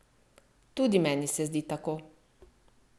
Tudi meni se zdi tako!